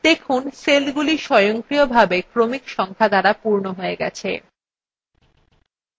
দেখুন সেলগুলি স্বয়ংক্রিয়ভাবে ক্রমিক সংখ্যা দ্বারা পূর্ণ we গেছে